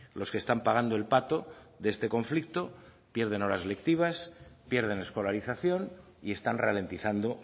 los que están pagando el pato de este conflicto pierden las horas lectivas pierden escolarización y están ralentizando